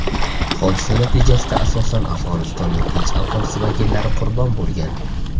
Hodisa natijasida asosan Afg‘onistonning tinch aholisi vakillari qurbon bo‘lgan.